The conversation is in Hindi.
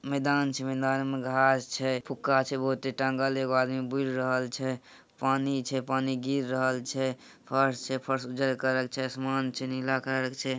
मैदान छे मैदान में घास छे रहल छे पानी छे पानी गिर रहल छे फर्श छे आसमान छे नीला कलर से ।